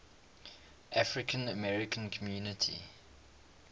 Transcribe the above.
african american community